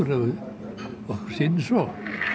sýnist svo